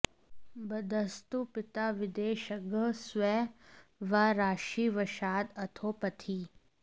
बद्धस्तु पिता विदेशगः स्वे वा राशि वशाद् अथो पथि